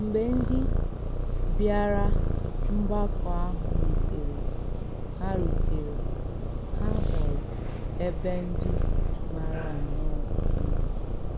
Mgbe ǹdí bịárà mgbàkọ̀ àhụ̀ rùtèrè, hà rùtèrè, hà hụrụ̀ èbè ǹdí màrà nnọọ̀ mma.